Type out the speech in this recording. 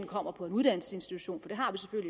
kommer på en uddannelsesinstitution